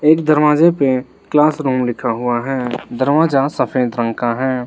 एक दरवाजे पर क्लासरूम लिखा हुआ है दरवाजा सफेद रंग का है।